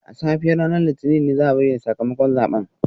A safiyar ranar Litinin ne za a bayyana sakamakon zaben